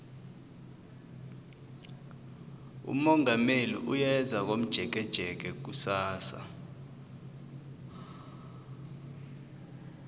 umongameli uyeza komjekejeke kusasa